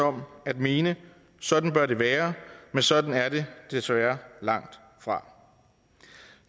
om at mene sådan bør det være men sådan er det desværre langtfra